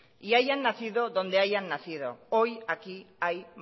y hayan nacido donde hayan nacido hoy aquí hay